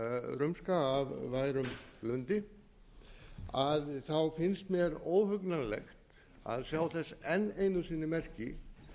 rumska af værum blundi finnst mér óhugnanlegt að sjá þess enn einu sinni merki